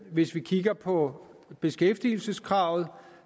hvis vi kigger på beskæftigelseskravet